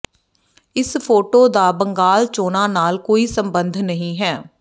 ਇਸ ਫੋਟੋ ਦਾ ਬੰਗਾਲ ਚੋਣਾਂ ਨਾਲ ਕੋਈ ਸਬੰਧ ਨਹੀਂ ਹੈ